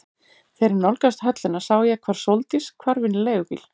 Þegar ég nálgaðist höllina sá ég hvar Sóldís hvarf inn í leigubíl.